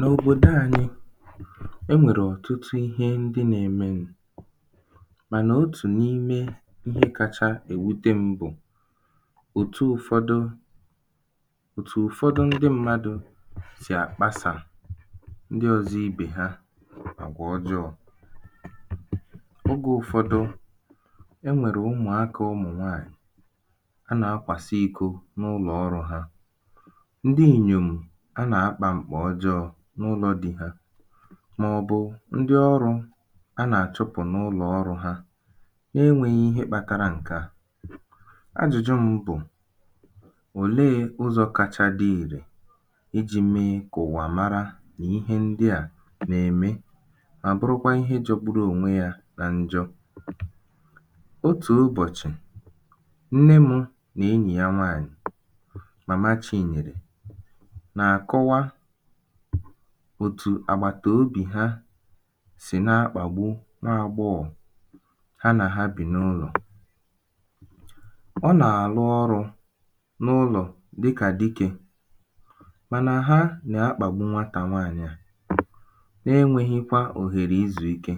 n’òbòdo anyị̄ e nwèrè ọ̀tụtụ ihe ndị nā-emenụ̄ mànà otù n’ime ihe kāchā èwute m̄ bụ̀ òtu ụfọdụ ọtụ ụ̀fọdụ ndịmmadụ̄ sì àkpasà ndi ọ̄zọ̄ ibè ha àgwà ọjọọ̄ ogē ụfọdụ e nwèrè ụmụ̀akā ụmụ̀ nwaànyị̀ a nà akwàsa iko n’ụlọ̀ ọrụ̄ hā ndị inyòm̀ a nà akpà m̀kpà ọjọọ̄ n’ụlọ̄ di ha màọ̀bụ̣̀ ndị ọrụ̄ a nà-àchụpụ̀ n’ụlọ̀ ọrụ̄ hā na-enwēghī ihe kpatara ṅke à ajụ̀jụ m bụ̀ òleē ụzọ̄ kacha dị ìrè ijī mee kà ụ̀wà mara nà ihe ndị à nà-ème mà bụrụkwa ihe jọ̄gbūrū ònwe yā na njọ otù ụbọ̀chị̀ Nnenwụ̄ nà enyì ya nwaànyị̀ Màma Chinyèrè nà-àkọwa òtù àgbàtobì ha sì na-akpàgbu nwa agbọghọ̀ ha nà ha bì n’ụlọ̀ ọ nà àlụ ọrụ̄ n’ụlọ̀ dị kà dikē mànà ha nà-akpàgbu nwatà nwaànyị̀ à na-enwehīkwā òhèrè izù ike